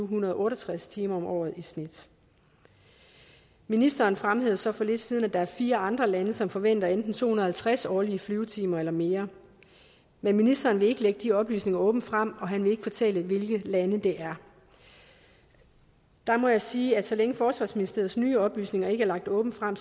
hundrede og otte og tres timer om året i snit ministeren fremhævede så for lidt siden at der er fire andre lande som forventer enten to hundrede og halvtreds årlige flyvetimer eller mere men ministeren vil ikke lægge de oplysninger åbent frem og han vil ikke fortælle hvilke lande det er der må jeg sige at så længe forsvarsministeriets nye oplysninger ikke er lagt åbent frem